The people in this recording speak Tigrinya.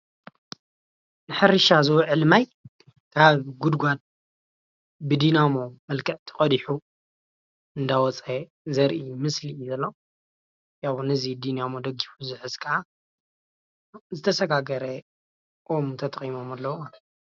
ንሕርሻ ዝውዕል ማይ ካብ ጉድጓድ ብዲናሞ መክዕ ተቀዲሑ እንዳወፃ ዘርኢ ምስሊ እዩ ዘሎ፡፡ ነዚ ብዲናሞ ደጊፉ ዝሕዝ ከዓ ዝተሸጋገረ ኦም ተጠቂሞም ማለት ኣለዉ ማለትእዩ፡፡